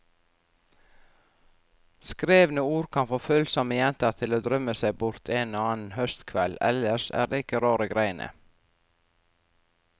Skrevne ord kan få følsomme jenter til å drømme seg bort en og annen høstkveld, ellers er det ikke rare greiene.